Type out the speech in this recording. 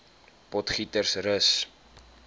potgietersrus